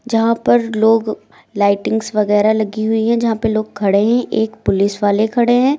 जहां पर लोग लाइटिंग्स वगैरा लगी हुई है जहां पर लोग खड़े हैं एक पुलिस वाले खड़े हैं।